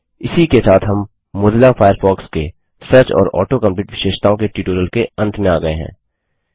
इसी के साथ हम मोज़िला फ़ायरफ़ॉक्स के सर्च और ऑटो कम्प्लीट विशेषताओं के ट्यूटोरियल के अंत में आ गये हैं